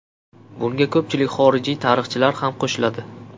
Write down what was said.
Bunga ko‘pchilik xorijiy tarixchilar ham qo‘shiladi.